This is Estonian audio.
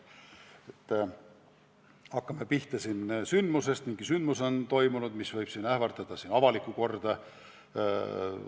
Hakkame pihta sündmusest: on toimunud mingi sündmus, mis võib ähvardada avalikku korda.